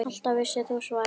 Alltaf vissir þú svarið.